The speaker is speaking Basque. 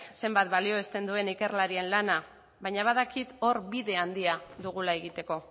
zenbat balioesten duenik ikerlarien lana baina badakit hor bide handia dugula egiteko